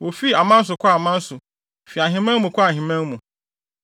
Wofii aman so kɔɔ aman so, fii ahemman mu kɔɔ ahemman mu.